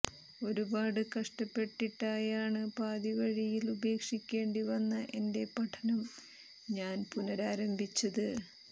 ഒരുപാട് കഷ്ടപ്പെട്ടിട്ടായാണ് പാതി വഴിയിൽ ഉപേക്ഷിക്കേണ്ടി വന്ന എന്റെ പഠനം ഞാൻ പുനഃരാരംഭിച്ചത്